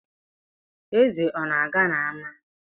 Eze ọ na-aga n’ama?